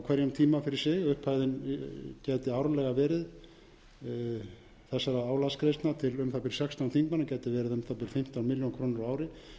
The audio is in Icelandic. hverjum tíma fyrir sig upphæðin gæti árlega verið þessara álagsgreiðslna til um það bil sextán þingmanna gæti verið um það bil fimmtán milljónir króna á ári